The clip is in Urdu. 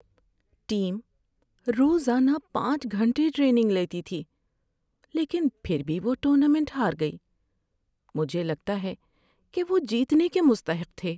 ٹیم روزانہ پانچ گھنٹے ٹریننگ لیتی تھی لیکن پھر بھی وہ ٹورنامنٹ ہار گئی۔ مجھے لگتا ہے کہ وہ جیتنے کے مستحق تھے۔